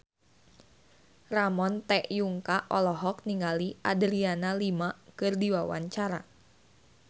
Ramon T. Yungka olohok ningali Adriana Lima keur diwawancara